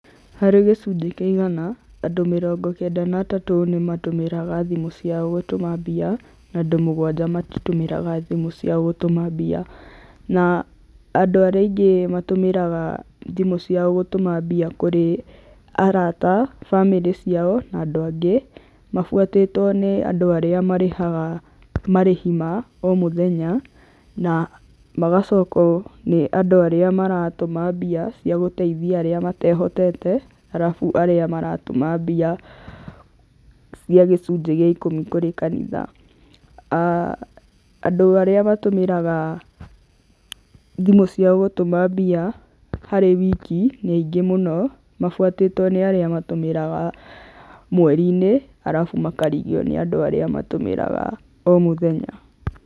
Harĩ gĩcunjĩ kĩa igana, andũ mĩrongo kenda na atatũ nĩ matũmagĩra thimu ciao gũtũma mbia, na andũ mũgwanja matitũmagĩra thimũ ciao gũtũma mbia, na andũ arĩa aingĩ matũmĩraga thimũ ciao gũtũma mbia kũrĩ arata, bamĩrĩ ciao, na andũ angĩ, mabuatĩtwo nĩ andũ arĩa marĩhaga marĩhi ma o mũthenya, na magacokwo nĩ andũ arĩa maratũma mbia cia gũteithia arĩa matehotete, arabu arĩa maratũma mbia cia gĩcunjĩ gĩa ikũmi kũrĩ kanitha, aah andũ arĩa matũmĩraga thimũ ciao gũtũma mbia harĩ wiki nĩ aingĩ mũno, mabuatĩtwo nĩ arĩa matũmĩraga mweri-inĩ, arabu makarigio nĩ andũ arĩa matũmĩraga o mũthenya.